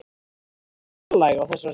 Hún var fjarlæg á þessari stundu.